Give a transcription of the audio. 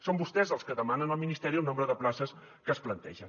són vostès els que demanen al ministeri el nombre de places que es plantegen